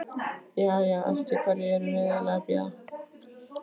Jæja, eftir hverju erum við eiginlega að bíða?